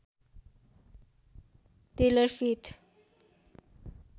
tailor faith